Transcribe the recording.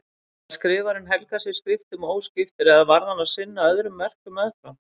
Gat skrifarinn helgað sig skriftum óskiptur eða varð hann að sinna öðrum verkum meðfram?